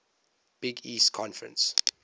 big east conference